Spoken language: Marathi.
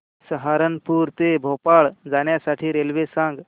सहारनपुर ते भोपाळ जाण्यासाठी रेल्वे सांग